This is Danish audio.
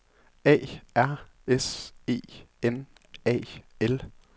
A R S E N A L